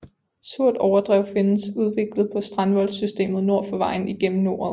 Surt overdrev findes udviklet på strandvoldssystemet nord for vejen igennem noret